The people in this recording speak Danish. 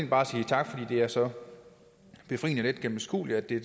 bare sige tak fordi det er så befriende let gennemskueligt at det